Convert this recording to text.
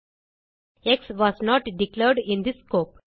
X was not declared in this scope